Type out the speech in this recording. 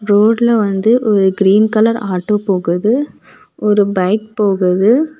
ரோட்ல வந்து ஒரு கிரீன் கலர் ஆட்டோ போகுது. ஒரு பைக் போகுது.